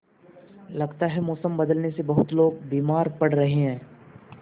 लगता है मौसम बदलने से बहुत लोग बीमार पड़ रहे हैं